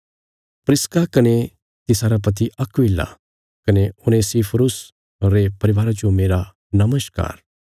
प्रिस्का कने तिसारा पति अक्विला कने उनेसिफुरुस रे परिवारा जो मेरा नमस्कार